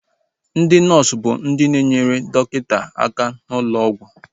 Ndị nọọsu bụ ihe na-enyere ndị dọkịta aka n'ụlọ ọgwụ